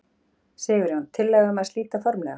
Sigurjón: Tillaga um það að slíta formlega?